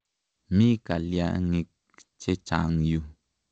Mi kalyang'ik che chang' yu.